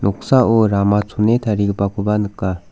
noksao rama chone tarigipakoba nika.